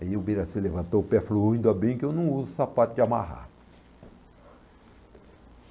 Aí o Birassi levantou o pé e falou, ainda bem que eu não uso sapato de amarrar.